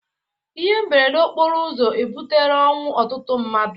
Ihe mberede okporo ụzọ ebutela ọnwụ ọtụtụ mmadụ